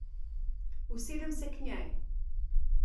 Usedem se k njej.